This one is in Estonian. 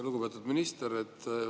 Lugupeetud minister!